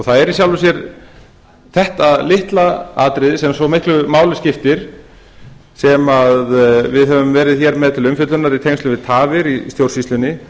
það er í sjálfu sér þetta litla atriði sem svo miklu máli skiptir sem við höfum verið með hér til umfjöllunar í tengslum við tafir í stjórnsýslunni